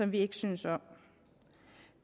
vi ikke synes om